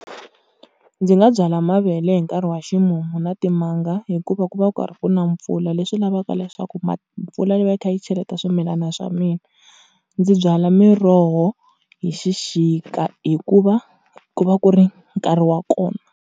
Ndzi nga byala mavele hi nkarhi wa ximumu na timanga, hikuva ku va karhi ku na mpfula leswi lavaka leswaku mpfula yi va yi kha yi cheleta swimilana swa mina. Ndzi byala miroho hi xixika hikuva ku va ku ri nkarhi wa kona.